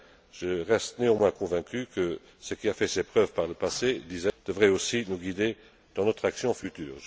je partage, je reste néanmoins convaincu que ce qui a fait ses preuves par le passé devrait aussi nous guider dans notre action future.